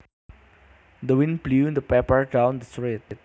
The wind blew the paper down the street